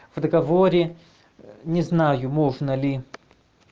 в договоре не знаю можно ли